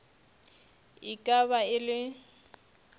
e ka ba e le